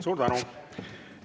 Suur tänu!